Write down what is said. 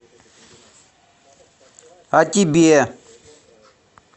а тебе